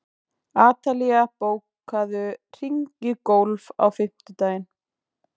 Atalía, bókaðu hring í golf á fimmtudaginn.